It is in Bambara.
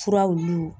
Furaw